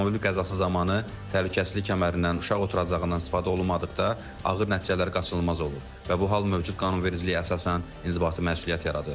Avtomobil qəzası zamanı təhlükəsizlik kəmərindən, uşaq oturacağından istifadə olunmadıqda ağır nəticələr qaçılmaz olur və bu hal mövcud qanunvericiliyə əsasən inzibati məsuliyyət yaradır.